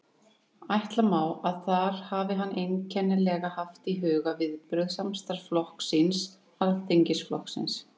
Ætla má, að þar hafi hann einkanlega haft í huga viðbrögð samstarfsflokks síns, Alþýðuflokksins.